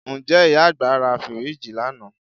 Ǹjẹ́ ìyá àgbà ra fíríìjì lánàá